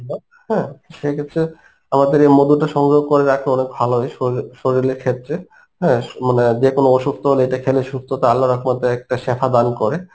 হ্যাঁ সে ক্ষেত্রে আমাদের এই মধুটা সংগ্রহ করে রাখা অনেক ভালো হয় শরীরে~ শরীলের ক্ষেত্রে, হ্যাঁ স~ মানে আহ যেকোনো অসুস্থ হলে এটা খেলে সুস্থতা আল্লাহর রহমতে একটা সেফা দান করে